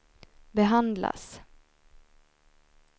behandlas